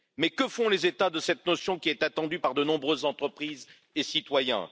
Que font les États de cette notion, qui est attendue par de nombreuses entreprises et citoyens?